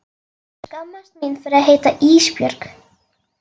Ég skammast mín fyrir að heita Ísbjörg.